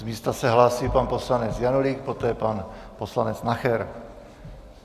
Z místa se hlásí pan poslanec Janulík, poté pan poslanec Nacher.